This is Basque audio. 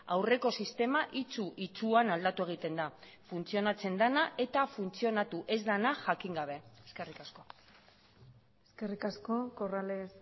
aurreko sistema itsu itsuan aldatu egiten da funtzionatzen dena eta funtzionatu ez dena jakin gabe eskerrik asko eskerrik asko corrales